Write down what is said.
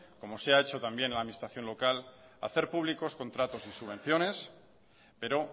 como se ha hecho también en la administración local hacer públicos contratos y subvenciones pero